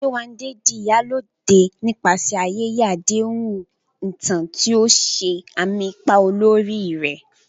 Yewande di "Iyalode" nípasẹ̀ ayẹyẹ àdéhùn ìtàn, tí ó ṣe àmì ipa olórí rẹ̀.